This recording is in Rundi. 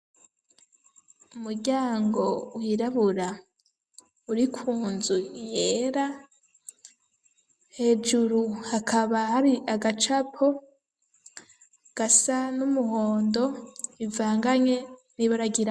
Umuryango wirabura uri ku nzu yera, hejuru hakaba hari agacapo gasa n'umuhondo bivanganye n'ibara ryirabura.